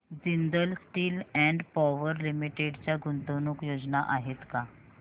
Jindal steel and power limited च्या गुंतवणूक योजना आहेत का